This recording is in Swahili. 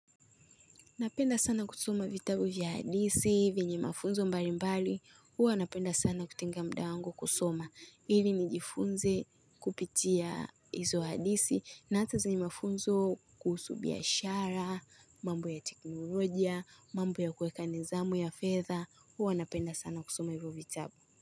Napenda sana kusoma vitabu vya hadithi, venye mafunzo mbalimbali, huwa napenda sana kutenga mda wangu kusoma. Ili nijifunze kupitia izo hadithi na hata zenye mafunzo kuhusu biashara, mambo ya teknolojia, mambo ya kuweka nizamu ya fedha, huwa napenda sana kusoma hivyo vitabu.